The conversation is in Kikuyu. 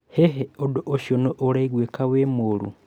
Hihi ũndũ ũcio nĩ ũraigwĩka wĩ mũru?